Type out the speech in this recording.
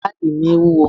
Báàgì mi wúwo.